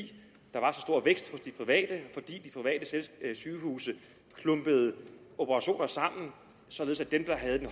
de private sygehuse klumpede operationer sammen således at dem der havde den